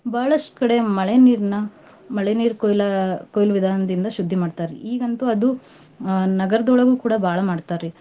ಬಹಳಷ್ಟ್ ಕಡೆ ಮಳೆ ನೀರ್ನ ಮಳೆನೀರ್ ಕೊಯ್ಲ~ ಕೊಯ್ಲ್ ವಿಧಾನ ದಿಂದ ಶುದ್ದಿ ಮಾಡ್ತಾರ್ರಿ. ಈಗಂತೂ ಅದು ಅಹ್ ನಗರದೊಳಗೂ ಕೂಡ ಬಾಳ್ ಮಾಡ್ತಾರ್ರಿ.